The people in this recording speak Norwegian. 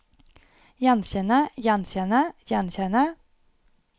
gjenkjenne gjenkjenne gjenkjenne